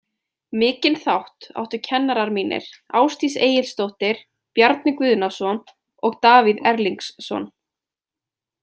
Mikinn þátt áttu kennarar mínir Ásdís Egilsdóttir, Bjarni Guðnason og Davíð Erlingsson.